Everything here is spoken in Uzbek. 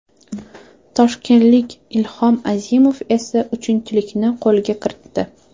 Toshkentlik Ilhom Azimov esa uchinchilikni qo‘lga kiritdi.